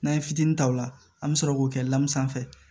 N'an ye fitini ta o la an bi sɔrɔ k'o kɛ li sanfɛ